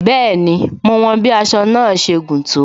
Bẹẹni, mo wọn bí aṣọ náà ṣe gùn tó